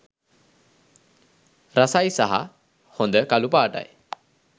රසයි සහ හොඳ කළුපාටයි.